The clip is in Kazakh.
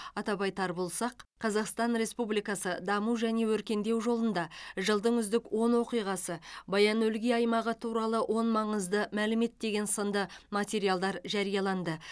атап айтар болсақ қазақстан республикасы даму және өркендеу жолында жылдың үздік он оқиғасы баян өлгий аймағы туралы он маңызды мәлімет деген сынды материалдар жарияланды